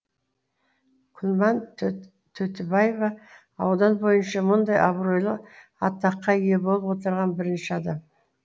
күлман төтібаева аудан бойынша мұндай абыройлы атаққа ие болып отырған бірінші адам